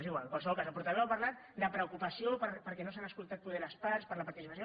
és igual en qualsevol cas el portaveu ha parlat de preocupació perquè no s’han escoltat potser les parts per la participació